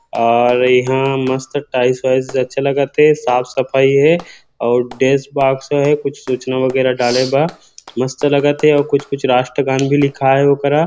और यहाँ मस्त टाइल्स वाइल्स अच्छा लगथे साफ़ सफाई हे अऊ डेस्क बॉक्स हे कुछ सूचना वगेरा डाले के मस्त लगथे कुछ - कुछ राष्ट्रगान भी लिखाए हे ओ करा